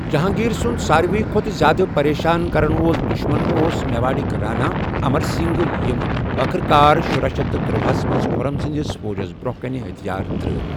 جہانٛگیٖر سُنٛد سارِوٕے کھۄتہٕ زیادٕ پَریشان کَرن وول دُشمن اوس میواڈٗك رانا ، اَمر سِنٛگھ، ییٚمہِ ٲخٕر کار شرُا شیتھ تٔرۄ ہَس منٛز خُرم سٕنٛدِس فوجس برٛونٛہہ کنہِ ہتھیار ترٛٲوِ ۔